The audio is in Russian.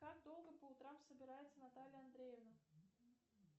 как долго по утрам собирается наталья андреевна